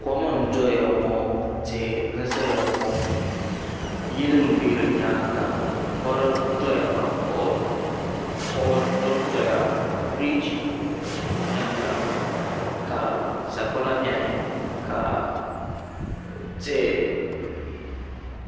Kom n doya ŋɔ tihi n zaya ŋɔ yili m be di nyaanga mori n doya ka koɣa dondoya biriji n beni la ka sagbana biɛni ka.